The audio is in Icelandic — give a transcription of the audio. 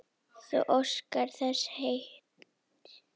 Þú óskar þess of heitt